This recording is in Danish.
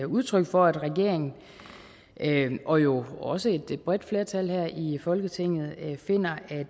udtryk for at regeringen og jo også et bredt flertal her i folketinget finder at